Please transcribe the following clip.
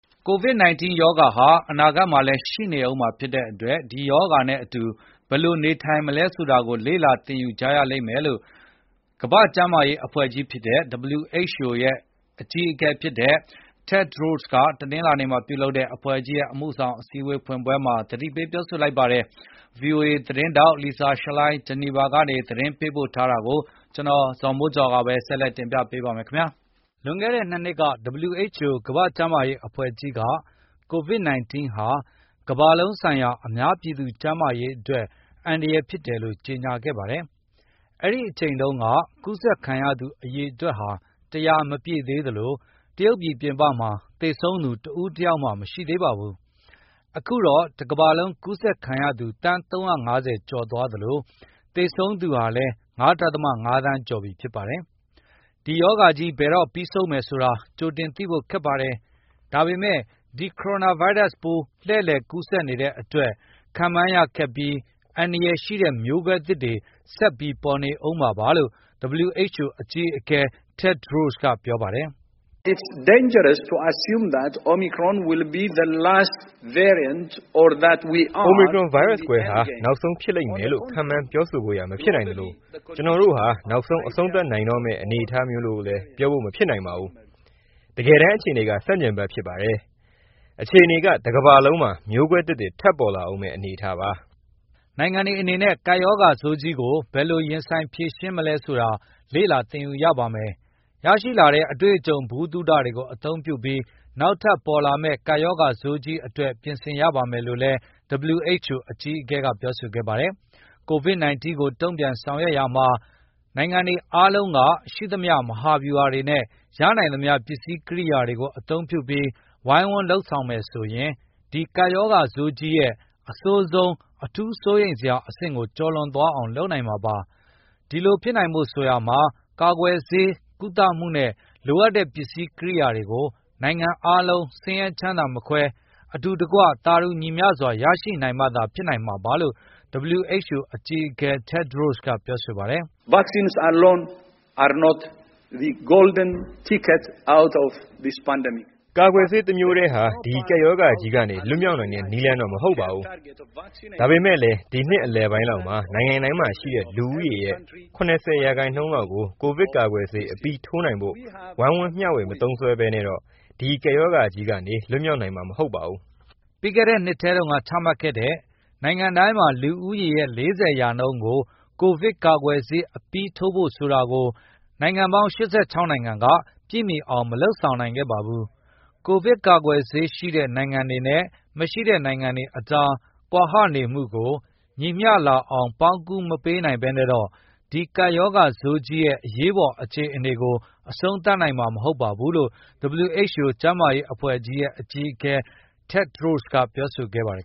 ကိုဗစ် ၁၉ ရောဂါဟာအနာဂတ်မှာလည်းရှိနေဦးမှာဖြစ်တဲ့အတွက် ဒီရောဂါနဲ့အတူ ဘယ်လိုနေ ထိုင်မလဲဆိုတာကိုလေ့လာသင်ယူကြရလိမ့်မယ်လို့ ကမ္ဘာ့ကျန်းမာရေး အဖွဲ့ကြီး WHO အကြီးအကဲ Tedros Ghebreyesus က တနင်္လာနေ့မှာပြုလုပ်တဲ့ အဖွဲ့ကြီးရဲ့ အမှုဆောင်အစည်းအဝေးဖွင့်ပွဲမှာ သတိပေးလိုက်ပါတယ်။ VOA သတင်း ထောက် Lisa Schlein ဂျီနီဗာကနေ သတင်းပေးပို့ထားတာကို ကိုဇော်မိုးကျော်က ပြောပြပေးမှာပါ။ လွန်ခဲ့တဲ့ ၂ နှစ်က WHO ကမ္ဘာ့ကျန်းမာရေးအဖွဲ့ကြီးက ကိုဗစ် ၁၉ ဟာ ကမ္ဘာလုံး ဆိုင်ရာအများပြည်သူကျန်းမာရေးအတွက်အန္တရယ်ဖြစ်တယ်လို့ကြေငြာခဲ့ပါတယ်။ အဲဒီအချိန် တုန်းက ကူးဆက်ခံရသူအရေအတွက်ဟာ ၁၀၀ မပြည့်သေးသလို၊ တရုတ်ပြည်ပြင်ပမှာသေဆုံး သူတဦးတယောက်မျှမရှိသေးပါဘူး။ အခုတော့ တကမ္ဘာလုံးကူးဆက်ခံရသူ သန်း ၃၅၀ ကျော်သွားသလို၊ သေဆုံးသူဟာလည်း ၅ ဒဿမ ၅ သန်းကျော်သွားပြီဖြစ်ပါတယ်။ ဒီကပ်ရောဂါကြီးဘယ်တော့ပြီးဆုံးမယ်ဆိုတာ ကြိုတင်သိဖို့ခက်ပါတယ်၊ ဒါပေမယ့်ဒီ ကိုရိုနာဗိုင်းရပ်စ်ပိုးလှည်လည် ကူးဆက်နေတဲ့အတွက်၊ ခန့်မှန်းရခက်ပြီး အန္တာရယ်ရှိတဲ့ မျိုးကွဲသစ်တွေဆက်ပြီးပေါ်နေဦးမှာပါလို့ WHO အကြီးအကဲ Tedros ကပြော ပါတယ်။ “Omicron ဗိုင်းရပ်စ်မျိုးကွဲဟာ နောက်ဆုံးဖြစ်လိမ့်မယ်လို့ ခန့်မှန်းပြောဆိုဖို့ရာမဖြစ်နိုင် သလိုကျနော်တို့ဟာနောက်ဆုံးအဆုံးသတ်နိုင်တော့မယ့်အနေအထားမျိုးလို့လည်းပြောဖို့မဖြစ်နိုင်ပါဘူး။ တကယ်တမ်းအခြေအနေကဆန့်ကျင်ဘက်ဖြစ်ပါတယ်၊ အခြေအနေ ကတကမ္ဘာလုံးမှာ မျိုးကွဲသစ်တွေထပ်ပေါ်လာဦးမယ့် အနေအထားပါ။” နိုင်ငံတွေအနေနဲ့ ဒီကပ်ရောဂါဆိုးကြီးကိုဘယ်လိုရင်ဆိုင်ဖြေရှင်းမလဲဆိုတာ လေ့လာသင်ယူရပါမယ်။ ရရှိလာတဲ့ အတွေ့အကြုံဗဟုသုတတွေကိုအသုံးပြုပြီး နောက်ထပ်ပေါ်လာမယ့် ကပ်ရောဂါဆိုးကြီးအတွက်ပြင်ဆင်ရပါမယ်လို့လည်း WHO အကြီးအကဲကပြောဆိုခဲ့ပါတယ်။ ကိုဗစ် ၁၉ ကိုတုန့်ပြန်ဆောင်ရွက်ရာမှာ နိုင်ငံတွေအားလုံးကရှိသမျှမဟာဗျူတွေနဲ့ ရနိုင်သမျှပစ္စည်းကရိယာတွေကိုအသုံးပြုပြီး ဝိုင်းဝန်းလုပ်ဆောင်မယ်ဆိုရင်၊ ဒီကပ်ရော ဂါဆိုးကြီးရဲ့ အဆိုးဆုံးအထူးဆိုးရိမ်စရာအဆင့်ကိုကျော်လွန်သွားအောင်လုပ်နိုင်မှာပါ။ ဒီလိုဖြစ်နိုင်ဖို့ဆိုရာမှာ ကာကွယ်ဆေး၊ ကုသမှုနဲ့လိုအပ်တဲ့ပစ္စည်းကရိယာတွေကို နိုင်ငံအားလုံး၊ ဆင်းရဲချမ်းသာမခွဲဘဲ၊ အတူတကွသာတူညီမျှစွာ ရရှိနိုင်မှသာ ဖြစ်နိုင်မှာပါ လို့ WHO အကြီးအကဲ Tedros ကပြောဆိုပါတယ်။ “ကာကွယ်ဆေးတမျိုးထဲနဲ့တော့ ဒီကပ်ရောဂါကြီးကနေလွတ်မြောက်နိုင်တဲ့နည်းလမ်း မဟုတ်ပါဘူး။ ဒါပေမယ့်လည်း ဒီနှစ်အလယ်ပိုင်းလောက်မှာ နိုင်ငံတိုင်းမှာရှိတဲ့ လူဦးရေရဲ့ ၇၀ ရာနှုန်းလောက်ကို ကိုဗစ်ကာကွယ်ဆေးအပြီးထိုးနိုင်ဖို့ ဝိုင်းဝန်းမျှဝေမသုံး စွဲဘဲနဲ့တော့ ဒီကပ်ရောဂါကြီးကနေလွတ်မြောက်နိုင်မှာဟုတ်ပါဘူး။” ပြီးခဲ့တဲ့နှစ်ထဲတုန်းက ချမှတ်ခဲ့တဲ့ နိုင်ငံတိုင်းမှာလူဦးရေရဲ့ ၄၀% ကို ကိုဗစ်ကာကွယ် ဆေးအပြီးထိုးဖို့ဆိုတာကို နိုင်ငံပေါင်း ၈၆ နိုင်ငံက ပြည့်မီအောင်မလုပ်ဆောင်နိုင်ခဲ့ပါဘူး။ ကိုဗစ်ကာကွယ်ဆေးရှိတဲ့ နိုင်ငံတွေနဲ့မရှိတဲ့နိုင်ငံတွေအကြား ကွာဟနေမှုကို ညီမျှလာ အောင်ပေါင်းကူးမပေးနိုင်ဘဲနဲ့တော့ ဒီကပ်ရောဂါဆိုးကြီးရဲ့ အရေးပေါ်အခြေအနေကို အဆုံးသတ်နိုင်မှာမဟုတ်ဘူးလို့ WHO ကမ္ဘာ့ကျန်းမာရေးအဖွဲ့ကြီးရဲ့ အကြီးအကဲ Tedros Ghebreyesus ကပြောဆိုခဲ့ပါတယ်